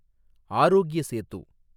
Arogya Setu